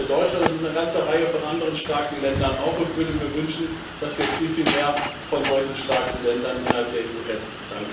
Das ist nicht nur Deutschland, es ist auch eine ganze Reihe von anderen starken Ländern und ich würde mir wünschen, dass wir viel, viel mehr von solchen starken Ländern innerhalb der EU hätten.